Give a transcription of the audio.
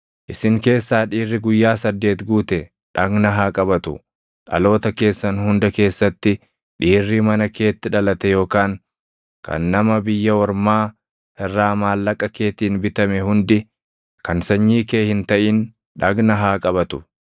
Isin keessaa dhiirri guyyaa saddeet guute dhagna haa qabatu; dhaloota keessan hunda keessatti dhiirri mana keetti dhalate yookaan kan nama biyya ormaa irraa maallaqa keetiin bitame hundi kan sanyii kee hin taʼin dhagna haa qabatu.